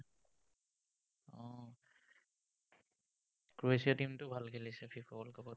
Croatia team টোও ভাল খেলিছে, FIFA world cup ত।